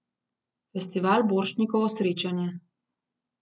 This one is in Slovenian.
Festival Borštnikovo srečanje.